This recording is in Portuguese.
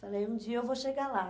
Falei, um dia eu vou chegar lá.